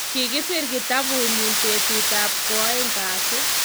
Kikisir kitabunnyi betutab ko aeng kasi.